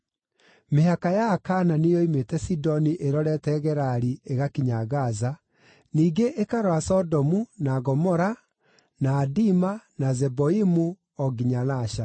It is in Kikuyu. mĩhaka ya Akaanani yoimĩte Sidoni ĩrorete Gerari ĩgakinya Gaza, ningĩ ĩkarora Sodomu, na Gomora, na Adima, na Zeboimu, o nginya Lasha.